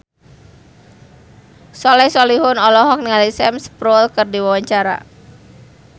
Soleh Solihun olohok ningali Sam Spruell keur diwawancara